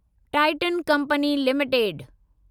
Titan company limited